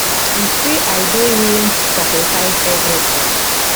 e say i dey willing to sacrifice evritin